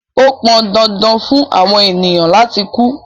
Ó pọn dandan fun awọn ènìyàn lati ku